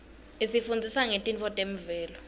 isifundzisa ngetintfo temvelo